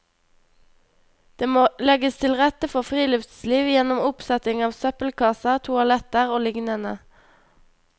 Det må legges til rette for friluftsliv, gjennom oppsetting av søppelkasser, toaletter og lignende.